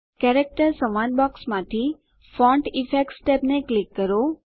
character સંવાદ બોક્સમાંથી font effects ટેબને ક્લિક કરો